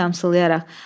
Gülarəni yamsılayaraq.